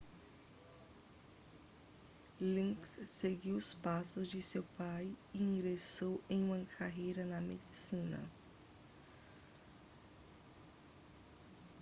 liggins seguiu os passos de seu pai e ingressou em uma carreira na medicina